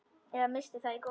Eða missti það í gólfið.